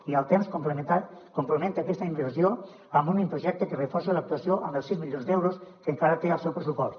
i al temps complementa aquesta inversió amb un únic projecte que reforci l’actuació amb els sis milions d’euros que encara té al seu pressupost